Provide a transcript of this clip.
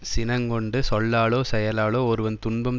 சினங்கொண்டு சொல்லாலோ செயலாலோ ஒருவன் துன்பம்